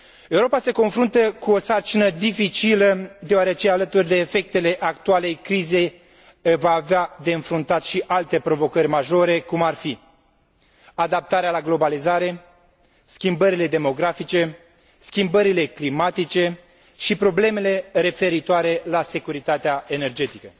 Europa se confruntă cu o sarcină dificilă deoarece, alături de efectele actualei crize, va avea de înfruntat și alte provocări majore, cum ar fi adaptarea la globalizare, schimbările demografice, schimbările climatice și problemele referitoare la securitatea energetică.